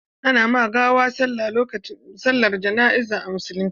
Ana ma gawa sallar jana'iza a musulunce.